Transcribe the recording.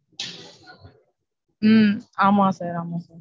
ஹம் ஆமா sir ஆமா sir.